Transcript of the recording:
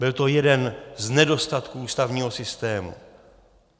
Byl to jeden z nedostatků ústavního systému.